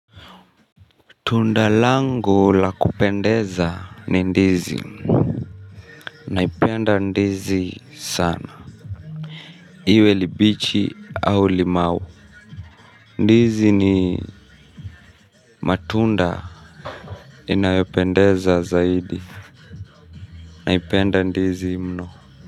Tundalangu lakupendeza ni ndizi. Naipenda ndizi sana. Iwe libichi au limau ndizi ni matunda inayopendeza zaidi.